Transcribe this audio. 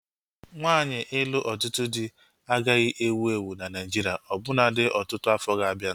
Nwaanyi ịlụ ọtụtụ dị agaghị ewu ewu na Naijiria ọbụnadi ọtụtụ afọ ga-abianu